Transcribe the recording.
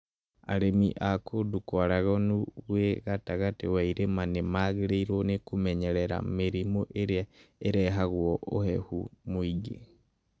Arĩmi a kũndũ kwaraganu gwĩ gatagatĩ wa irĩma nĩ magĩrĩirũo nĩ kwĩmenyerera mĩrimũ ĩrĩa ĩrehagwo ũhehu mũingĩ.